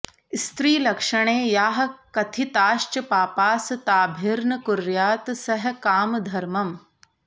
स्त्रीलक्षणे याः कथिताश्च पापास् ताभिर्न कुर्यात् सह कामधर्मम्